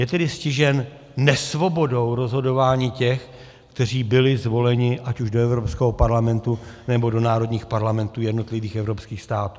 Je tedy stižen nesvobodou rozhodování těch, kteří byli zvoleni ať už do Evropského parlamentu, nebo do národních parlamentů jednotlivých evropských států.